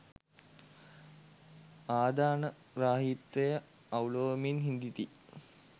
ආධානග්‍රාහීත්වය අවුළුවමින් හිඳිති